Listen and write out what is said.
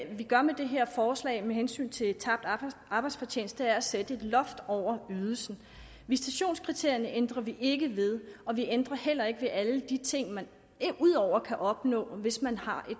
vi gør med det her forslag med hensyn til tabt arbejdsfortjeneste er at sætte et loft over ydelsen visitationskriterierne ændrer vi ikke ved og vi ændrer heller ikke ved alle de ting man derudover kan opnå hvis man har